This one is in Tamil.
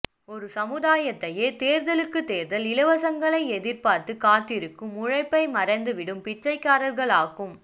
ஒரு சமுதாயத்தையே தேர்தலுக்குத் தேர்தல் இலவசங்களை எதிர்பார்த்துக் காத்திருக்கும் உழைப்பைமறந்துவிடும் பிச்சைக்காரர்களாக்கும்